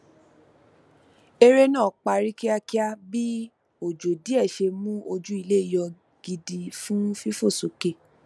eré náà parí kíákíá bí òjò díẹ ṣe mú ojú ilẹ yọ gidi fún fífòsókè